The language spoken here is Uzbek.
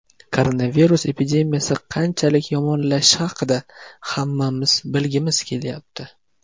Koronavirus epidemiyasi qanchalik yomonlashishi haqida hammamiz bilgimiz kelyapti.